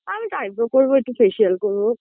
আমিতো eyebrow করবো একটু facial করবো